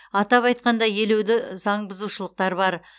атап айтқанда елеуді заңбұзушылықтар бар